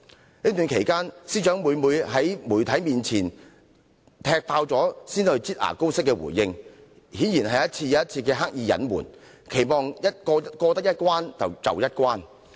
在這段期間，司長每次都在傳媒"踢爆"時才以"擠牙膏"的方式回應，顯然是一而再地刻意隱瞞，期望過一關得一關。